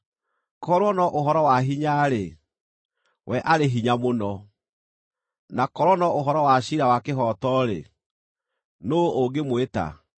Korwo no ũhoro wa hinya-rĩ, we arĩ hinya mũno! Na korwo no ũhoro wa ciira wa kĩhooto-rĩ, nũũ ũngĩmwĩta?